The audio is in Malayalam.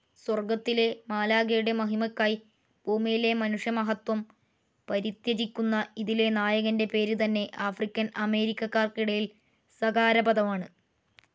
സ്വർഗ്ഗത്തിലെ മാലാഖയുടെ മഹിമയ്ക്കായി ഭൂമിയിലെ മനുഷ്യമഹത്വം പരിത്യജിക്കുന്ന ഇതിലെ നായകൻ്റെ പേര് തന്നെ ആഫ്രിക്കൻ അമേരിക്കക്കാർക്കിടയിൽ സകാരപദമാണ്.